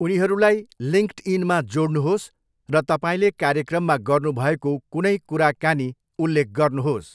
उनीहरूलाई लिङ्क्डइनमा जोड्नुहोस् र तपाईँले कार्यक्रममा गर्नुभएको कुनै कुराकानी उल्लेख गर्नुहोस्।